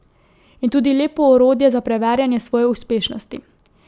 In tudi lepo orodje za preverjanje svoje uspešnosti.